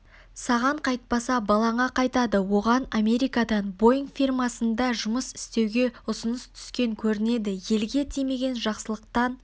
саған қайтпаса балаңа қайтады оған америкадан боинг фирмасында жұмыс істеуге ұсыныс түскен көрінеді елге тимеген жақсылықтан